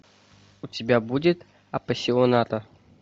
у тебя будет аппассионата